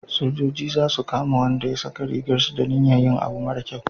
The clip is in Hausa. sojoji za su kama Wanda ya saka rigar su da niyar yin abu mara kyau